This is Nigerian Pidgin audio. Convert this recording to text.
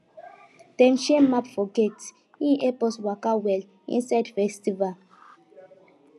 dem share map for gate e help us waka well inside festival